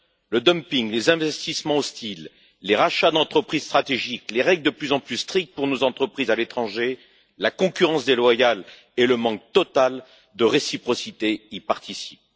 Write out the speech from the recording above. Le dumping, les investissements hostiles, les rachats d'entreprises stratégiques, les règles de plus en plus strictes pour nos entreprises à l'étranger, la concurrence déloyale et le manque total de réciprocité y participent.